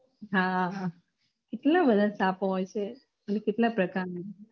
હા એટલા બધા સાપો હોય છે અને કેટલા પ્રકાર નું